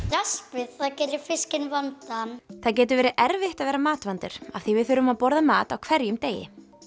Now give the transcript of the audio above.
raspið það gerir fiskinn vondan það getur verið erfitt að vera matvandur af því við þurfum að borða mat á hverjum degi